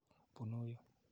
Punu yu.